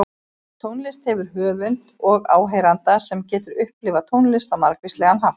Tónlist hefur höfund og áheyranda, sem getur upplifað tónlist á margvíslegan hátt.